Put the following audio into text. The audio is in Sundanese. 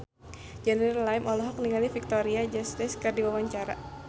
Junior Liem olohok ningali Victoria Justice keur diwawancara